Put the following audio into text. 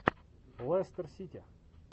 лестер сити